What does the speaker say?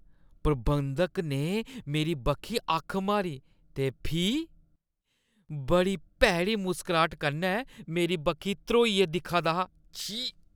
प्रबंधक ने मेरी बक्खी अक्ख मारी ते फ्ही बड़ी भैड़ी मुसकराह्ट कन्नै मेरी बक्खी ध्रोइयै दिक्खा दा हा, छी।